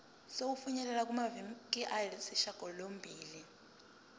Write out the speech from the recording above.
sokufinyelela kumaviki ayisishagalombili